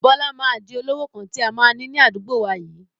Bọlá máa di olówó kan tí a máa ni ní àdúgbò wá yìí